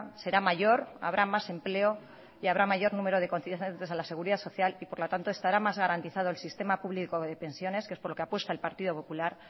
será mayor habrá más empleo y habrá más cotizantes a la seguridad social y por lo tanto estará más garantizado el sistema público de pensiones que es por lo que apuesta el partido popular